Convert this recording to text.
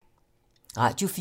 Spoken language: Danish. Radio 4